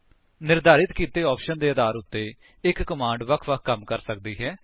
ਨਿਰਧਾਰਿਤ ਕੀਤੇ ਆਪਸ਼ਨ ਦੇ ਆਧਾਰ ਉੱਤੇ ਇੱਕ ਕਮਾਂਡ ਵੱਖ ਵੱਖ ਕੰਮ ਕਰ ਸਕਦੀ ਹੈ